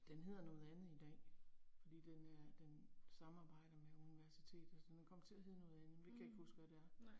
Den hedder noget andet i dag, fordi den øh den samarbejder med universitetet, så den er kommet til at hedde noget andet, men det kan ikke huske hvad det er